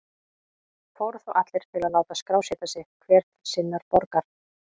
Fóru þá allir til að láta skrásetja sig, hver til sinnar borgar.